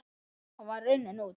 Hann var runninn út